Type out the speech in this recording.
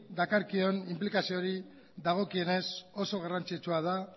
dakarkion inplikazioari dagokionez oso garrantzitsua da